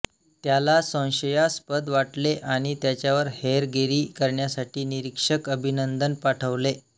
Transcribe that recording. त्याला संशयास्पद वाटले आणि त्याच्यावर हेरगिरी करण्यासाठी निरीक्षक अभिनंदन पाठवले